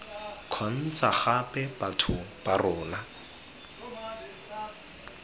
kgontsha gape batho ba rona